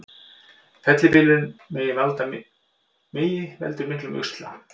Fellibylurinn Megi veldur miklum usla